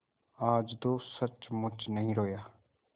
आज तो सचमुच नहीं रोया